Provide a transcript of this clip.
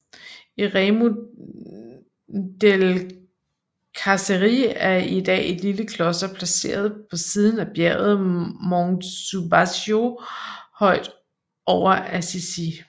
Eremo delle Carceri er i dag et lille kloster placeret på siden af bjerget Monte Subasio højt over Assisi